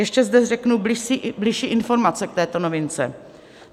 Ještě zde řeknu bližší informace k této novince.